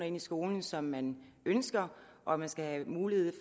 ind i skolen som man ønsker og at man skal have mulighed